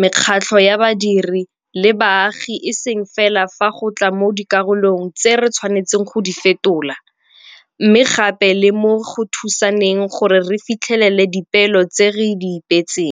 mekgatlho ya badiri le ya baagi e seng fela fa go tla mo dikarolong tseo re tshwanetseng go di fetola, mme gape le mo go thusaneng gore re fitlhelele dipeelo tseo re di ipeetseng.